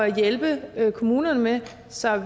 hjælpe kommunerne med så